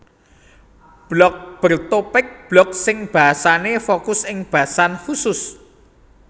Blog Bertopik blog sing bahasé fokus ing basan khusus